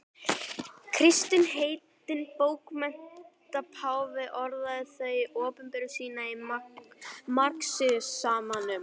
Kristinn heitinn bókmenntapáfi orðaði það um opinberun sína í marxismanum.